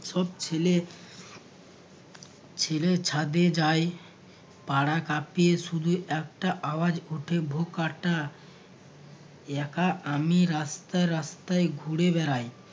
সব ছেলে ছেলে ছাদে যায় পাড়া কাঁপিয়ে শুধু একটা আওয়াজ ওঠে ভো-কাট্টা। একা আমি রাস্তায় রাস্তায় ঘুরে বেড়াই